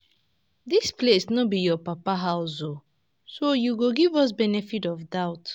Dis place no be your papa house oo so you go give us benefit of doubt